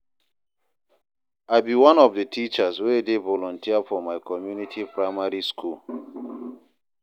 I be one of the teachers wey dey volunteer for my community primary school.